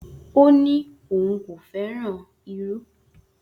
O ni oun ko feran iru.